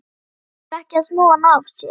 Reynir ekki að snúa hann af sér.